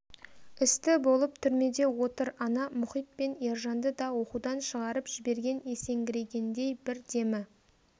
істі болып түрмеде отыр ана мұхит пен ержанды да оқудан шығарып жіберген есеңгірегендей бір демі